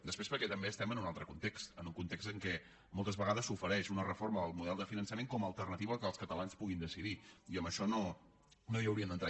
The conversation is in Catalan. després perquè també estem en un altre context en un context en què moltes vegades s’ofereix una reforma del model de finançament com a alternativa al fet que els catalans puguin decidir i en això no hi hauríem d’entrar